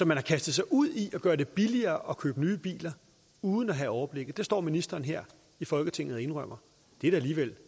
man har kastet sig ud i at gøre det billigere at købe nye biler uden at have overblikket det står ministeren her i folketinget og indrømmer det er da alligevel